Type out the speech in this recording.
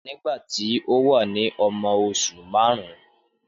Nígbà tí ó wà ní ọmọ oṣù márùn-ún